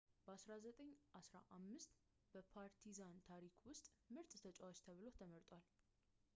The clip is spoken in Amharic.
በ 1995 በፓርቲዛን ታሪክ ውስጥ ምርጥ ተጫዋች ተብሎ ተመርጧል